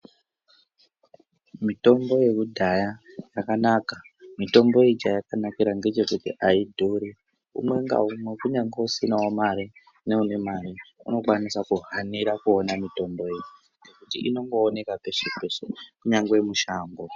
Mitombo yekudhaya yakanaka mitombo iyi chayakanakira ngechekuti aidhuri umwe ngaumwe kunyangwe usinawo mare neune mare unokwanisa kuhanira kuona mitombo iyi ngekuti inongooneka peshe peshe kunyangwe mushango.